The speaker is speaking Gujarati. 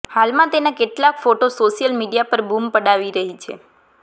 હાલમાં તેના કેટલાક ફોટો સોશિયલ મીડિયા પર બૂમ પડાવી રહી છે